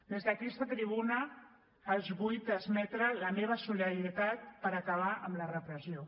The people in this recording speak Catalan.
des d’aquesta tribuna els vull transmetre la meva solidaritat per acabar amb la repressió